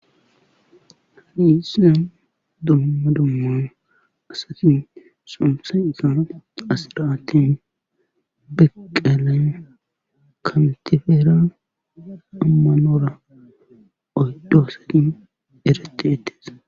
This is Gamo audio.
hani isia dumma dumman asatin somsay isana asiraatin beqelen kantifeera ammanora oyddoosatin eretettes